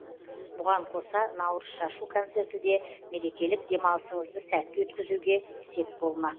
бұған қоса наурыз шашу концерті де мерекелік демалысыңызды сәтті өткізуге сеп болмақ